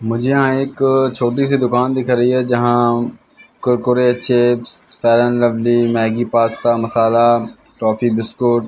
मुझे यहां एक छोटी सी दुकान दिख रही है जहां Kurkure chips fair lovely Maggi pasta masala toffee biscuit --